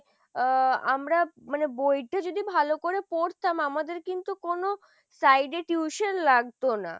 আহ আমরা মানে বইটা যদি ভালো করে পড়তাম আমাদের কিন্তু কোনো side এ tuition লাগতো না।